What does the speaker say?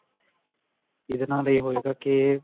ਇਹਦੇ ਨਾਲ ਇਹ ਹੋਏਗਾ ਕੇ